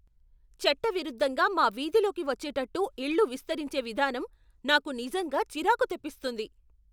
చట్టవిరుద్ధంగా మా వీధిలోకి వచ్చేటట్టు ఇళ్ళు విస్తరించే విధానం నాకు నిజంగా చిరాకు తెప్పిస్తుంది.